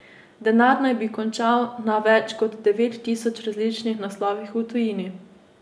Denar naj bi končal na več kot devet tisoč različnih naslovih v tujini.